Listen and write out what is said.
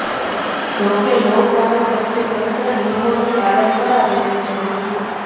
જો કે લોકડાઉન વચ્ચે તંત્ર નિયમોનું પાલન કરાવે તે જરૂરી છે